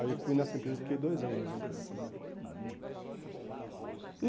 Aí eu fui nessa empresa e fiquei dois anos nessa empresa trabalhando. E